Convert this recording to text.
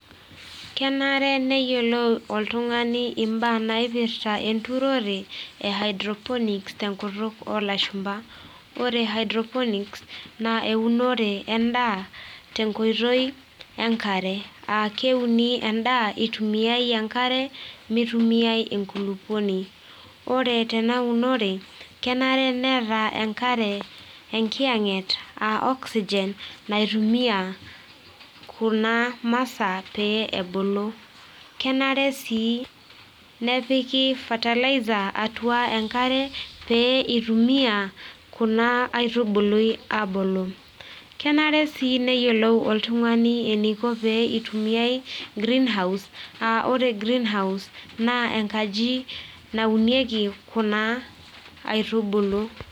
Kenare neyiolou oltungani mbaa naipirta enturore e hydroponics tenkutuk olashumba, ore hydropolics na eunore endaa te nkoitoi enkare aa keuni endaa itumiai enkare mitumiai enkulukuoni, ore tenaunore kenare neeta enkare enkiyanget a oxygen kuna masaa peyie ebulu. kenare sii nepiki fertiliser atua enkare peitumia kuna aitubulu abulu, kenare si kuna aitubulu oltungani eniko peitumiai greenhouse a ore greenhouse naa enkaji naunieki kuna aitubulu.